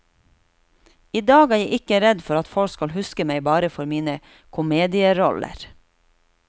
I dag er jeg ikke redd for at folk skal huske meg bare for mine komedieroller.